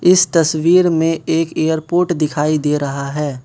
इस तस्वीर में एक एयरपोर्ट दिखाई दे रहा है।